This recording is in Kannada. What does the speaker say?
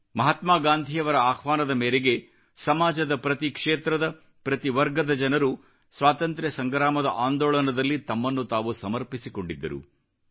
ಮಹಾತ್ಮಾ ಗಾಂಧಿಯವರ ಆಹ್ವಾನದ ಮೇರೆಗೆ ಸಮಾಜದ ಪ್ರತಿ ಕ್ಷೇತ್ರದ ಪ್ರತಿ ವರ್ಗದ ಜನರು ಸ್ವಾತಂತ್ರ್ಯ ಸಂಗ್ರಾಮದ ಅಂದೋಳನದಲ್ಲಿ ತಮ್ಮನ್ನು ತಾವು ಸಮರ್ಪಿಸಿಕೊಂಡಿದ್ದರು